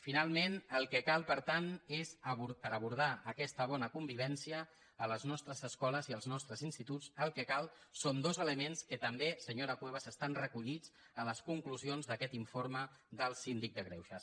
finalment el que cal per tant per abordar aquesta bona convivència a les nostres escoles i als nostres instituts són dos elements que també senyora cuevas estan recollits a les conclusions d’aquest informe del síndic de greuges